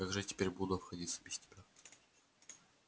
как же я теперь буду обходиться без тебя